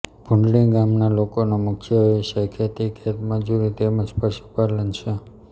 ભુંડણી ગામના લોકોનો મુખ્ય વ્યવસાય ખેતી ખેતમજૂરી તેમ જ પશુપાલન છે